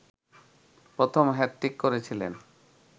প্রথম হ্যাট্রিক করেছিলেন